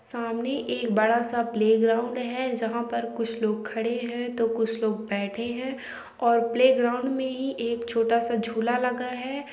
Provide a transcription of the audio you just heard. सामने एक बड़ा सा प्लेग्राउंड है जहाँ पर कुछ लोग खड़े हैं तो कुछ लोग बैठे हैं और प्लेग्राउंड में ही एक छोटा सा झूला लगा है।